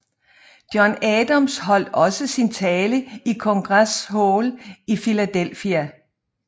John Adams holdt også sin tale i Congress Hall i Philadelphia